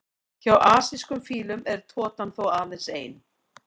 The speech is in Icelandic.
Hjá asískum fílum er totan þó aðeins ein.